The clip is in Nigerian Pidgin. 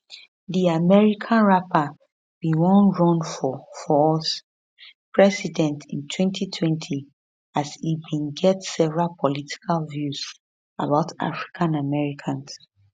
di american rapper bin wan run for for us president in 2020 as im bin get several political views about african americans